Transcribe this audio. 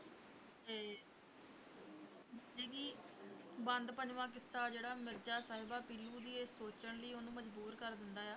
ਬੰਦ ਪੰਜਵਾਂ, ਕਿੱਸਾ ਜਿਹੜਾ ਮਿਰਜ਼ਾ-ਸਾਹਿਬਾਂ, ਪੀਲੂ ਦੀ ਇਹ ਸੋਚਣ ਲਈ ਉਹਨੂੰ ਮਜ਼ਬੂਰ ਕਰ ਦਿੰਦਾ ਆ